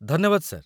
ଧନ୍ୟବାଦ, ସାର୍ ।